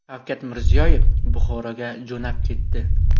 Shavkat Mirziyoyev Buxoroga jo‘nab ketdi.